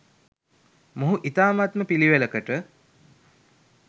මොහු ඉතාමත්ම පිළිවෙලකට